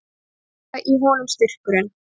Ennþá í honum styrkurinn.